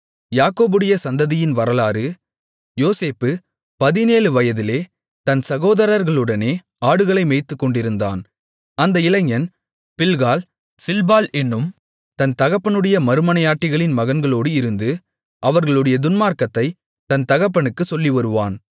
யாக்கோபுடைய சந்ததியின் வரலாறு யோசேப்பு பதினேழு வயதிலே தன் சகோதரர்களுடனே ஆடுகளை மேய்த்துக்கொண்டிருந்தான் அந்த இளைஞன் பில்காள் சில்பாள் என்னும் தன் தகப்பனுடைய மறுமனையாட்டிகளின் மகன்களோடு இருந்து அவர்களுடைய துன்மார்க்கத்தைத் தன் தகப்பனுக்குச் சொல்லிவருவான்